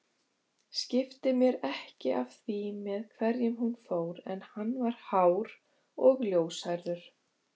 Skipti mér ekki af því með hverjum hún fór en hann var hár og ljóshærður